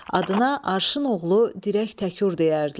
Adına Arşın Oğlu Dirək Təkur deyərdilər.